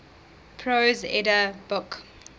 prose edda book